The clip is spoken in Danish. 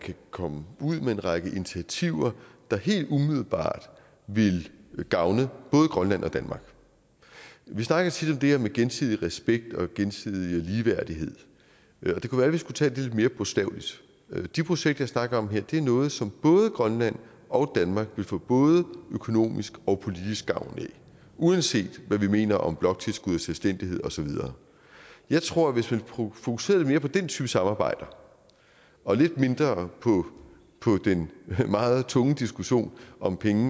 kan komme ud med en række initiativer der helt umiddelbart vil gavne både grønland og danmark vi snakker tit om det her med gensidig respekt og gensidig ligeværdighed og det kunne være vi skulle tage det lidt mere bogstaveligt de projekter jeg snakker om her er noget som både grønland og danmark vil få både økonomisk og politisk gavn af uanset hvad vi mener om bloktilskud og selvstændighed og så videre jeg tror at hvis man fokuserede lidt mere på den type samarbejder og lidt mindre på den meget tunge diskussion om penge